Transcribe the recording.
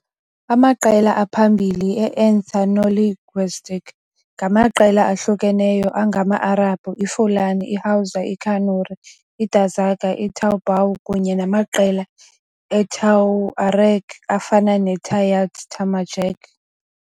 Amaqela aphambili e-ethnolinguistic ngamaqela ahlukeneyo angama-Arabhu, iFulani, iHausa, iKanuri, iDazaga Toubou kunye namaqela eTuareg afana neTayart Tamajeq.